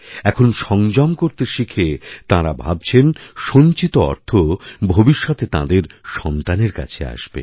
এখন সংযম করতে শিখে তাঁরা ভাবছেন সঞ্চিত অর্থ ভবিষ্যতে তাঁদেরসন্তানের কাছে আসবে